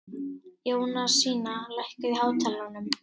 Jónasína, lækkaðu í hátalaranum.